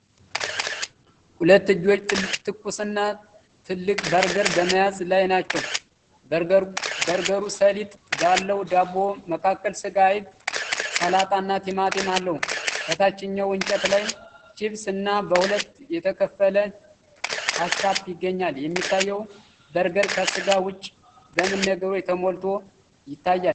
ሁለት እጆች ትኩስና ትልቅ በርገር በመያዝ ላይ ናቸው። በርገሩ ሰሊጥ ባለው ዳቦ መካከል ስጋ፣ አይብ፣ ሰላጣ እና ቲማቲም አለው። ከታችኛው እንጨት ላይ ቺብስ እና በሁለት የተከፈለ ካቻፕ ይገኛል። የሚታየው በርገር ከስጋ ውጪ በምን ነገሮች ተሞልቶ ይታያል?